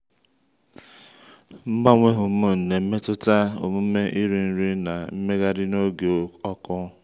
mgbanwe hormone na-emetụta omume iri nri na mmegharị n’oge ọkụ.